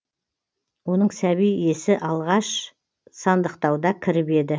оның сәби есі алғаш сандықтауда кіріп еді